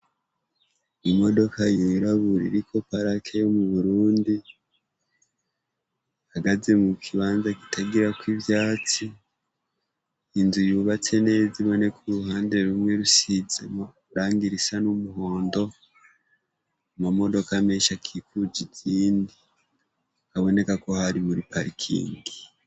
Imodoka yuraburira iko parakeyo mu burundi hagaze mu kibanza gitagirako ivyatsi induye yubatse neza iboneko muruhande rumwe rusize urangira isa n'umuhondo mu mamodoko amenshi akikuje izindi haboneka ko hari buri parkingi.